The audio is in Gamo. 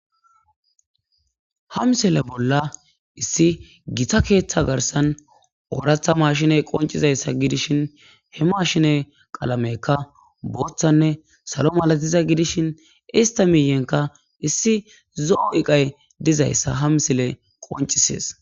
ha msile bolla issi gita keeththa garsan ooratha mashiney qoncizayssa gidishin he mashine qalamekka booththanne salo malatiza gidishin ista miiyenka issi zo7o iqay dizayssa ha msile qoncisees.